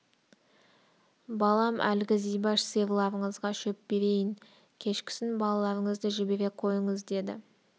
балам әлгі зибаш сиырларыңызға шөп берейін кешкісін балаларыңызды жібере қойыңыз деді